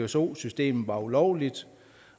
pso systemet var ulovligt